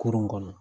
Kurun kɔnɔ